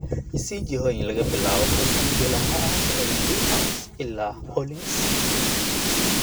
i sii jihooyin laga bilaabo halkan bilaha bilaha ah ee brewhouse ilaa orleans cusub